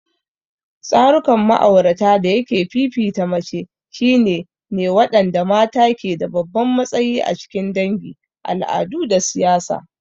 Tsarukan ma'aurata dayake fifita mace shine ne waɗanda mata ke da babban matsayi a cikin dangi, al'adu, da siyasa.